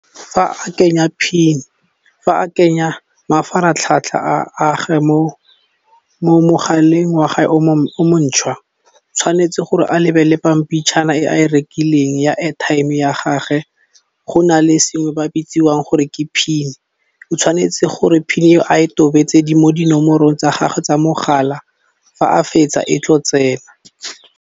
Fa a kenya PIN fa a kenya mafaratlhatlha a gage mo mogaleng wa gae o montšhwa tshwanetse gore a lebelle pampitshana e a e rekileng ya airtime ya gage go nale sengwe ba bitsiwang gore ke PIN o tshwanetse gore PIN a e tobetse di mo dinomorong tsa gage tsa mogala fa a fetsa e tlo tsena.